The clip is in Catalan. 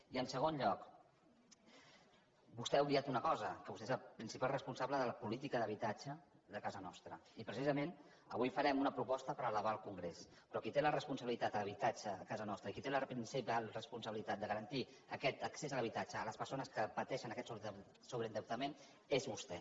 i en segon lloc vostè ha obviat una cosa que vostè és el principal responsable de la política d’habitatge de casa nostra i precisament avui farem una proposta per elevar al congrés però qui té la responsabilitat de l’habitatge a casa nostra i qui té la principal responsabilitat de garantir aquest accés a l’habitatge a les persones que pateixen aquest sobreendeutament és vostè